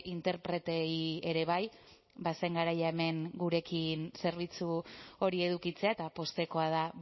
interpreteei ere bai bazen garaia hemen gurekin zerbitzu hori edukitzea eta poztekoa da